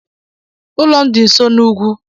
Ụlọ m dị nso n'ugwu.